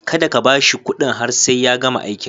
Kada ka ba shi kuɗin har sai ya gama aikin.